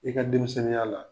I ka denmisɛnniya la.